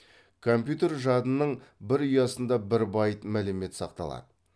компьютер жадының бір ұясында бір байт мәлімет сақталады